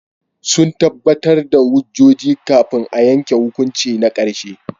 Sun tabbatar da hujjoji kafin a yanke hukunci na karshe.